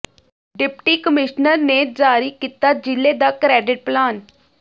deputy commissioner ਨੇ ਜਾਰੀ ਕੀਤਾ ਜ਼ਿਲ੍ਹੇ ਦਾ ਕਰੈਡਿਟ ਪਲਾਨ